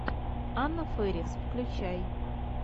анна ферис включай